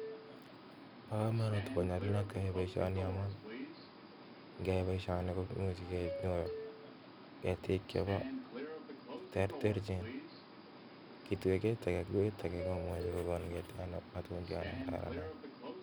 poo kamanuut ako nyalunoot keyai boishonii amuun imuuch kenyoor ketikk che ter ter ako imuuch kenyoor matundiat na keraran.